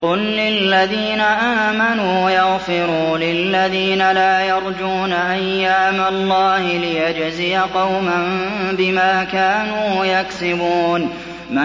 قُل لِّلَّذِينَ آمَنُوا يَغْفِرُوا لِلَّذِينَ لَا يَرْجُونَ أَيَّامَ اللَّهِ لِيَجْزِيَ قَوْمًا بِمَا كَانُوا يَكْسِبُونَ